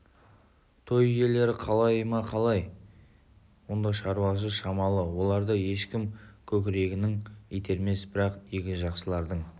той иелері қалай ма қаламай ма онда шаруасы шамалы оларды ешкім көкірегінен итермес бірақ игі жақсылардың